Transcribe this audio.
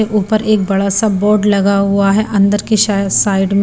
ऊपर एक बड़ा सा बोर्ड लगा हुआ है अंदर की शा साइड में--